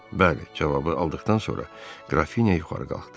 Bəli cavabı aldıqdan sonra Qrafinya yuxarı qalxdı.